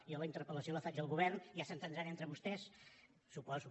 jo la interpel·lació la faig al govern ja s’entendran entre vostès suposo